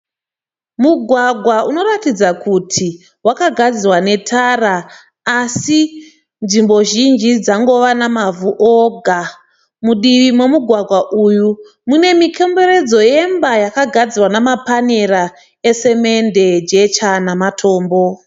Mugwagwa unoratidza kuti wakagadzirwa netara asi nzvimbo zhinji dzangova nemavhu oga mudivi momugwagwa uyu munemikomberedzo yakagadzirwa nemapanera esemende , jecha nematombo.